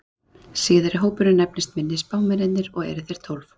Síðari hópurinn nefnist minni spámennirnir og eru þeir tólf.